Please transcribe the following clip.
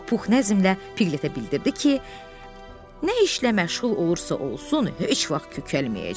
Pux nəzmlə Pigglete bildirdi ki, nə işlə məşğul olursa olsun, heç vaxt kökəlməyəcək.